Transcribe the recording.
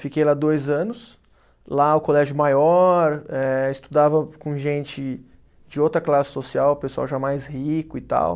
Fiquei lá dois anos, lá o colégio maior, eh estudava com gente de outra classe social, pessoal já mais rico e tal.